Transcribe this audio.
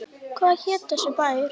Hvað heitir þessi bær?